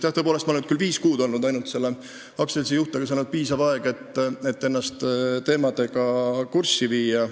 Jah, tõepoolest, ma olin selle aktsiaseltsi juht küll ainult viis kuud, aga see on piisav aeg, et ennast teemadega kurssi viia.